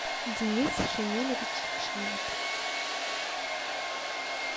денис шамилевич шемят